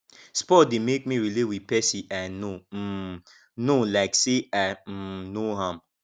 sport de make me relate with persin i no um know like say i um know am